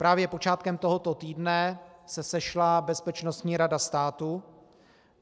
Právě počátkem tohoto týdne se sešla Bezpečnostní rada státu.